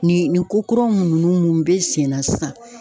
Nin nin ko kuraw nunnu bɛ sen na sisan.